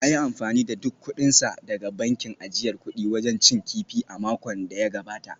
Ya yi amfani da duk kudinsa daga bankin ajiyar kudi wajen cin kifi a makon da ya gabata